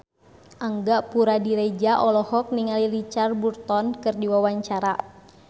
Angga Puradiredja olohok ningali Richard Burton keur diwawancara